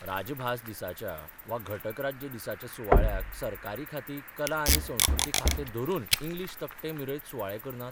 राजभास दिसाच्या वा घटक राज्य दिसाच्या सुवाळ्याक सरकारी खातीं कला आनी संस्कृती खातें धरून इंग्लिश तकटे मिरयत सुवाळे करनात?